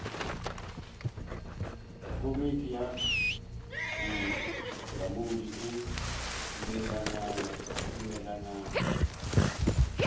komiti ya bolamodi e dumelelana